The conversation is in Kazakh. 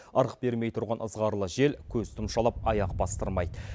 ырық бермей тұрған ызғарлы жел көз тұмшалап аяқ бастырмайды